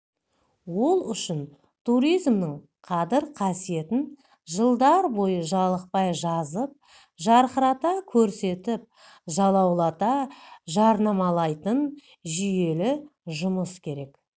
ол үшін туризмнің қадір-қасиетін жылдар бойы жалықпай жазып жарқырата көрсетіп жалаулата жарнамалайтын жүйелі жұмыс керек